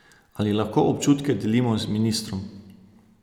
Ali lahko občutke delimo z ministrom?